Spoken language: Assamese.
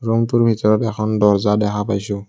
ৰুমটোৰ ভিতৰত এখন দৰ্জা দেখা পাইছোঁ।